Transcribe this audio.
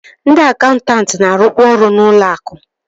Ndị akaụntanti na-arụkwa ọrụ n'ụlọ akụ